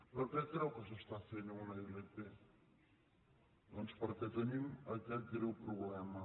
per què creu que s’està fent una ilp doncs perquè tenim aquest greu problema